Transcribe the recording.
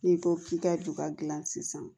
N'i ko k'i ka juba gilan sisan